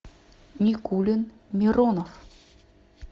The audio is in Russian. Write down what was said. никулин миронов